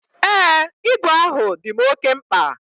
Ee, igwe ahụ dim oke mkpa.